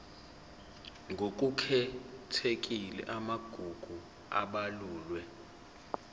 ngokukhethekile amagugu abalulwe